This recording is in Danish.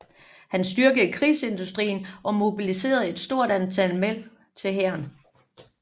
Han styrkede krigsindustrien og mobiliserede et stort antal mænd til hæren